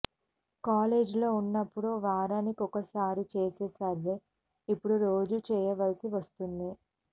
కాలేజీలో ఉన్నప్పుడు వారానికొకసారి చేసే సర్వే ఇప్పుడు రోజూ చెయ్యవలసి వస్తోంది